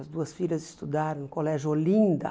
As duas filhas estudaram no Colégio Olinda.